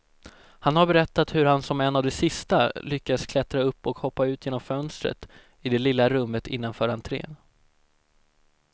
Han har berättat hur han som en av de sista lyckas klättra upp och hoppa ut genom fönstret i det lilla rummet innanför entrén.